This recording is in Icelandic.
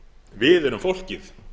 við erum fólkið